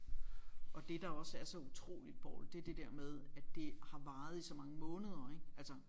Og det der også er så utroligt Poul det er det der med at det har varet i så mange måneder ik altså